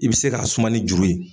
I bɛ se ka s suma ni juru ye.